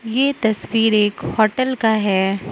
ये तस्वीर एक होटल का है।